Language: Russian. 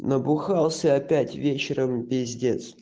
набухался опять вечером пиздец